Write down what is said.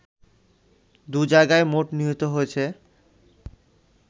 দু’জায়গায় মোট নিহত হয়েছে